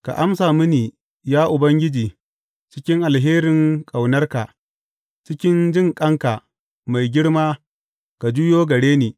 Ka amsa mini, ya Ubangiji cikin alherin ƙaunarka; cikin jinƙanka mai girma ka juyo gare ni.